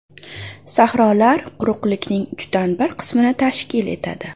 Sahrolar quruqlikning uchdan bir qismini tashkil etadi.